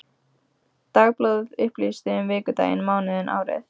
Dagblað upplýsti um vikudaginn, mánuðinn, árið.